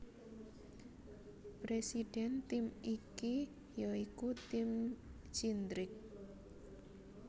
Presiden tim iki ya iku Tim Cindric